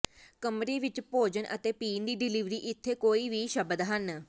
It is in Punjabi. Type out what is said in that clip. ਕਮਰੇ ਵਿੱਚ ਭੋਜਨ ਅਤੇ ਪੀਣ ਦੀ ਡਿਲਿਵਰੀ ਇੱਥੇ ਕੋਈ ਵੀ ਸ਼ਬਦ ਹਨ